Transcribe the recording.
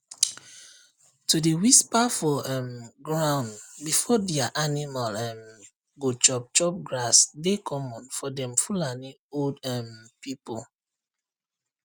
to dey whisper for um ground before dia animal um go chop chop grass dey common for dem fulani old um pipu